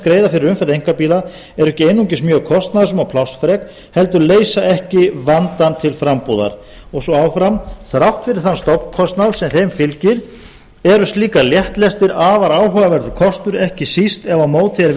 greiða fyrir umferð einkabíla eru ekki einungis mjög kostnaðarsöm og plássfrek heldur leysa ekki vandann til frambúðar og svo áfram þrátt fyrir þann stofnkostnað sem þeim fylgir eru slíkar léttlestir afar áhugaverður kostur ekki síst ef á móti er